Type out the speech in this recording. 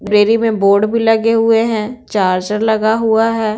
Prairie में board भी लगे हुए हैंचार्जर लगा हुआ है।